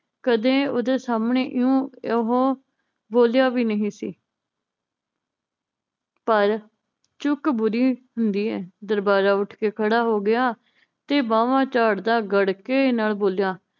ਕਦੇ ਓਹਦੇ ਸਾਮਣੇ ਇਉਂ ਉਹ ਬੋਲਿਆ ਵੀ ਨਹੀ ਸੀ ਪਰ ਚੁੱਕ ਬੁਰੀ ਹੁੰਦੀ ਏ ਦਰਬਾਰਾ ਉਠਕੇ ਖੜਾ ਹੋਗਿਆ ਤੇ ਬਾਵਾਂ ਝਾੜਦਾ ਗੜਕੇ ਨਾਲ ਬੋਲਿਆ